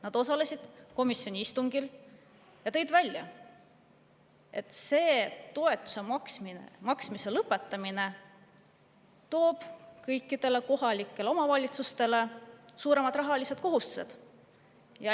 Nad osalesid komisjoni istungil ja tõid välja, et toetuse maksmise lõpetamine toob kõikidele kohalikele omavalitsustele suuremad rahalised kohustused.